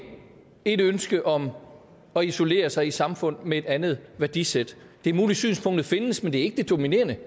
et ønske om at isolere sig i samfund med et andet værdisæt det er muligt synspunktet findes men det er ikke det dominerende